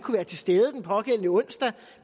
være til stede den pågældende onsdag